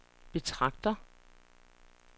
betragter